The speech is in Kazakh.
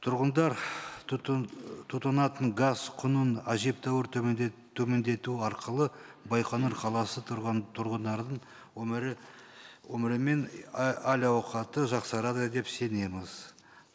тұрғындар тұтынатын газ құнын әжептәуір төмендету арқылы байқоңыр қаласы тұрғындарының өмірі мен әл ауқаты жақсарады деп сенеміз